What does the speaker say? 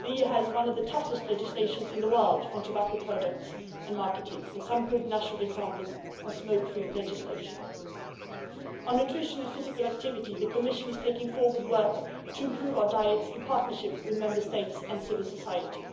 The EU has one of the toughest legislations in the world on tobacco products and marketing, and some good national examples of smoke free legislation. On nutrition and physical activity, the Commission is taking forward work to improve our diets in partnership with Member States and civil society.